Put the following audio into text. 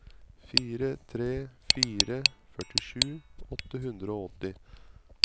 fire tre fire fire førtisju åtte hundre og åtti